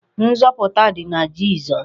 Nzọpụta dị na Jizọs.